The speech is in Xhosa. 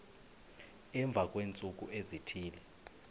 emva kweentsuku ezithile